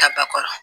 Tabakɔrɔ